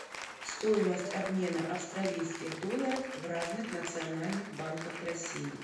стоимость обмена австралийских долларов в разных национальных банках россии